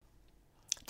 DR1